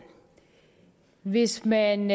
hvis man